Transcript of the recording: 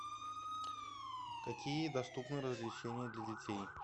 какие доступны развлечения для детей